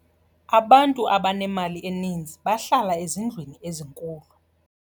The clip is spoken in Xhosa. Abantu abanemali eninzi bahlala ezindlwini ezinkulu.